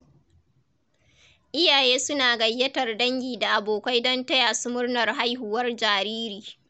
Iyaye suna gayyatar dangi da abokai don tayasu murnar haihuwar jariri.